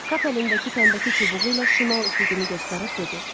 Kap əlindəki təmbəki çubuğu ilə şimal üfüqünü göstərib dedi.